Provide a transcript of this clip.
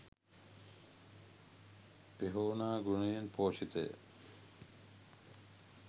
පෙහෝනා ගුණයෙන් පෝෂිත ය.